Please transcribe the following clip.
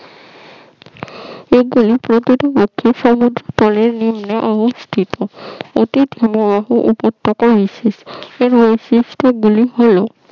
এগুলো প্রকৃতপক্ষে নদীর তলে নিম্নে অবস্থিত অতি হিমবাহ উপত্যকা বিশেষ এর বৈশিষ্ট্য গুলি হল